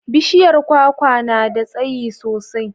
Bishiyar kwakwa nada tsayi sosai